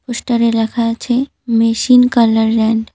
পোস্টারে লেখা আছে মেশিন কালারেন্ট ।